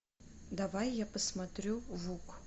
давай я посмотрю вук